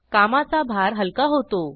कामाचा भार हलका होतो